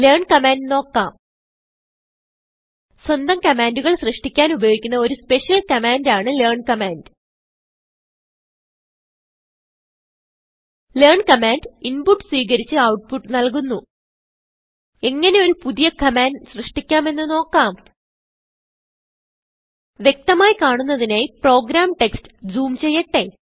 learn command നോക്കാം സ്വന്തം കമാൻഡുകൾ സൃഷ്ടിക്കാൻ ഉപയോഗിക്കുന്ന ഒരു സ്പെഷ്യൽ കമാൻഡ് ആണ് ലെയർൻ കമാൻഡ് ലെയർൻ കമാൻഡ് inputസ്വീകരിച്ച് ഔട്ട്പുട്ട് നല്കുന്നു എങ്ങനെ ഒരു പുതിയ കമാൻഡ് സൃഷ്ടിക്കാം എന്ന് നോക്കാം വ്യക്തമായി കാണുന്നതിനായി പ്രോഗ്രാം ടെക്സ്റ്റ് ജൂം ചെയ്യട്ടെ